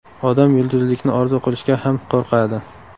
Odam yulduzlikni orzu qilishga ham qo‘rqadi.